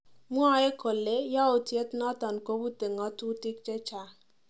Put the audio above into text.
Mwae kole yautiet noton kopute ngatutik chechang'